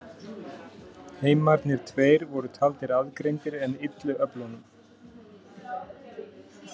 Heimarnir tveir voru taldir aðgreindir en illu öflunum.